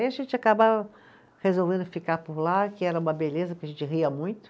Aí a gente acabava resolvendo ficar por lá, que era uma beleza, porque a gente ria muito.